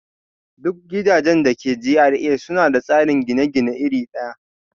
Duk gidajen da ke GRA suna da tsarin gine-gine iri ɗaya